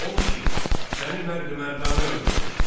Odur ki, səni mərdü-mərdanə öldürmək istəyirəm.